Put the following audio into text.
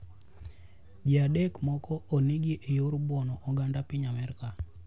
Ji adek moko onegi e yo mar buono oganda piny Amerka.